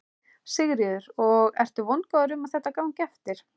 Sigríður: Og ertu vongóður um að þetta gangi eftir?